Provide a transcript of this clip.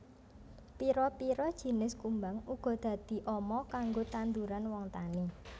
Pira pira jinis kumbang uga dadi ama kanggo tanduran wong tani